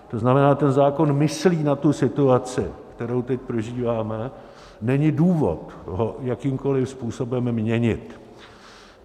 To znamená, ten zákon myslí na tu situaci, kterou teď prožíváme, není důvod ho jakýmkoliv způsobem měnit.